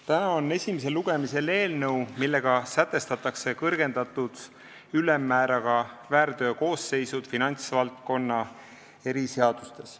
Täna on esimesel lugemisel eelnõu, millega sätestatakse kõrgendatud ülemmääraga väärteokoosseisud finantsvaldkonna eriseadustes.